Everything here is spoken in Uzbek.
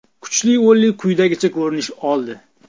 Kuchli o‘nlik quyidagicha ko‘rinish oldi: !